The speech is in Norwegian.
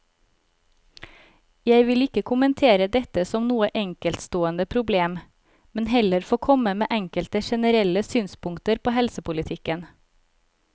Jeg vil ikke kommentere dette som noe enkeltstående problem, men heller få komme med enkelte generelle synspunkter på helsepolitikken.